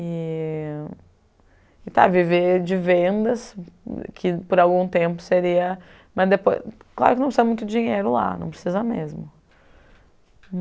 E tentar viver de vendas, que por algum tempo seria mas depois... Claro que não precisa muito dinheiro lá, não precisa mesmo.